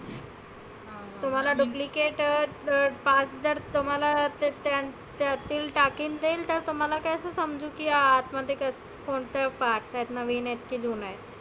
तुम्हाला duplicate part जर तुम्हाला त्यां टाकील ते तर तुम्हाला कसं समजेल की आतमध्ये काय कोणते part नविन आहेत की जुने आहे.